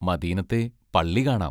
മദീനത്തെ പള്ളി കാണാം!